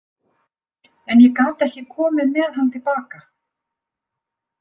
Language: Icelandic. En ég gat ekki komið með hann til baka.